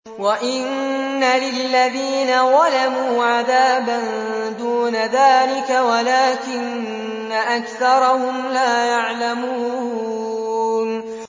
وَإِنَّ لِلَّذِينَ ظَلَمُوا عَذَابًا دُونَ ذَٰلِكَ وَلَٰكِنَّ أَكْثَرَهُمْ لَا يَعْلَمُونَ